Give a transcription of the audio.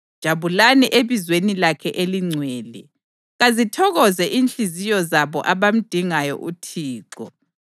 Jabulani ebizweni lakhe elingcwele; kazithokoze inhliziyo zabo abamdingayo uThixo.